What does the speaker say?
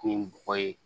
Ni bɔgɔ ye